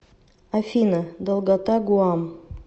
афина долгота гуам